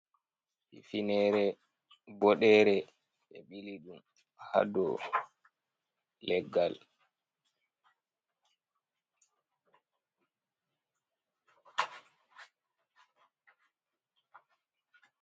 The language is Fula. Hifine bodere ɓe ɓili ɗum ha dow leggal.